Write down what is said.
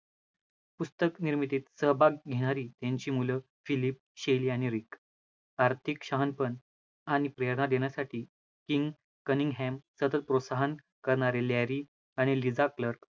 पुस्तक निर्मितीत सहभाग घेणारी त्यांची मुलं फिलीप, शेली आणि रीक. आर्थिक शहाणपण आणि प्रेरणा देण्यासाठी किंग कनिम हॅम, सतत प्रोत्साहन करणारी लॅरी आणि लिझा क्लर्क